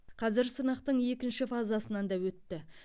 қазір сынақтың екінші фазасынан да өтті